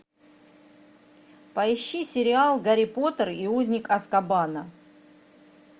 поищи сериал гарри поттер и узник азкабана